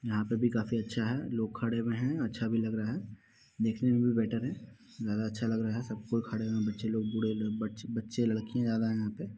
यहाँ पर भी काफी अच्छा है लोग खड़े हुए हैं अच्छा भी लग रहा है देखने में भी बेटर है ज्यादा अच्छा लग रहा है सब कोई खड़े हुए बच्चे लोग बूढ़े लोग बच्चे लड़कियाँ ज्यादा है यहाँ पे।